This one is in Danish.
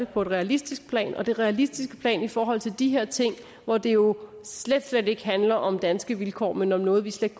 på et realistisk plan hvor det realistiske plan i forhold til de her ting hvor det jo slet slet ikke handler om danske vilkår men om noget vi slet